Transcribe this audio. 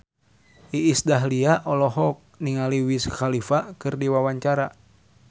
Iis Dahlia olohok ningali Wiz Khalifa keur diwawancara